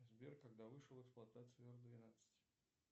сбер когда вышел в эксплуатацию р двенадцать